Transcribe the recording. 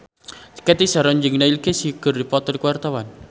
Cathy Sharon jeung Neil Casey keur dipoto ku wartawan